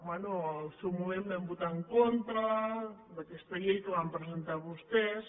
bé en el seu moment vam votar en contra d’aquesta llei que van presentar vostès